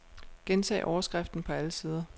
Gentag overskriften på alle sider.